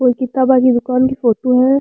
कोई किताबा की दूकान की फोटो है।